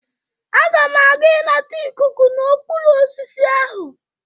Aga m aga ịnata ikuku n'okpuru osisi ahụ.